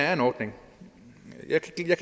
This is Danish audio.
er en ordning jeg kan